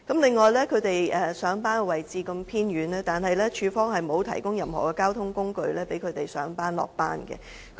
還有，他們上班的位置偏遠，但署方沒有提供任何交通工具讓他們上班和下班。